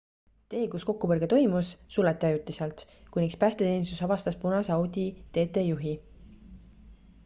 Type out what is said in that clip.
tee kus kokkupõrge toimus suleti ajutiselt kuniks päästeteenistus vabastas punase audi tt juhi